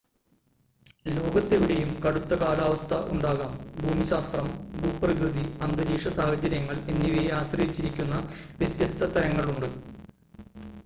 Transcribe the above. ലോകത്തെവിടെയും കടുത്ത കാലാവസ്ഥ ഉണ്ടാകാം ഭൂമിശാസ്ത്രം ഭൂപ്രകൃതി അന്തരീക്ഷ സാഹചര്യങ്ങൾ എന്നിവയെ ആശ്രയിച്ചിരിക്കുന്ന വ്യത്യസ്ത തരങ്ങളുണ്ട്